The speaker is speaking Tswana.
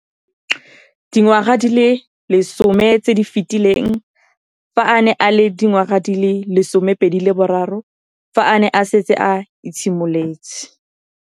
Dingwaga di le 10 tse di fetileng, fa a ne a le dingwaga di le 23 mme a setse a itshimoletse